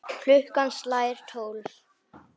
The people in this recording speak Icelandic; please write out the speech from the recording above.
Klukkan slær tólf.